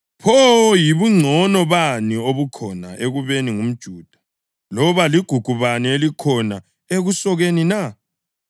Pho yibungcono bani obukhona ekubeni ngumJuda, loba ligugu bani elikhona ekusokeni na?